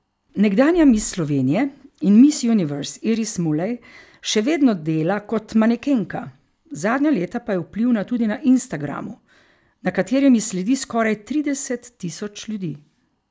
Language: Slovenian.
Nekdanja miss Slovenije in miss universe Iris Mulej še vedno dela kot manekenka, zadnja leta pa je vplivna tudi na instagramu, na katerem ji sledi skoraj trideset tisoč ljudi.